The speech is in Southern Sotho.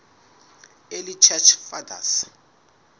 early church fathers